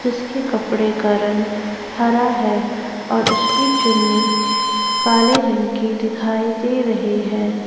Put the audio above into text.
उसके कपड़े का रंग हरा है और उसकी चुन्नी काले रंग की दिखाई दे रहे है ।